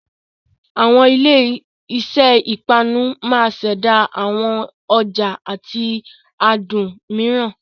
Àwọn ilé iṣẹ́ ìpanu máa ṣẹ̀dá àwọn ọ̀ja àti adùn mìíràn.